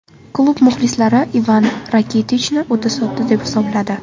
Klub muxlislari Ivan Rakitichni o‘ta sodda deb hisobladi.